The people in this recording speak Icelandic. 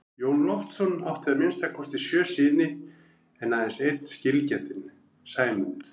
Jón Loftsson átti að minnsta kosti sjö syni en aðeins einn skilgetinn, Sæmund.